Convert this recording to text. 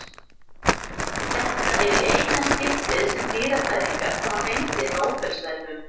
Þetta er í eina skiptið sem dýrafræðingar hafa fengið Nóbelsverðlaun.